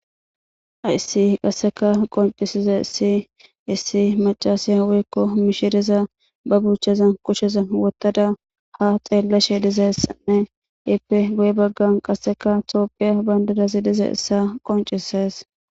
Hayissi qasseka qoncisize issi issi macasiya weykko mishidiza ba buucheza kusheza wottada ha xeellashe dizessanne ipe guye baggan qasseka toophiya bayndadazi dizayissa qoncises